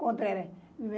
Contra